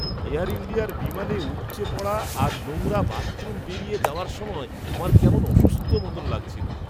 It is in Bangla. এয়ার ইন্ডিয়ার বিমানে উপচে পড়া আর নোংরা বাথরুম পেরিয়ে যাওয়ার সময় আমার কেমন অসুস্থ মতো লাগছিলো।